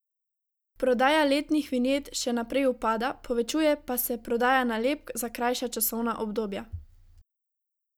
Prodaja letnih vinjet še naprej upada, povečuje pa se prodaja nalepk za krajša časovna obdobja.